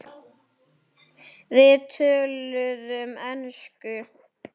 Við töluðum ensku.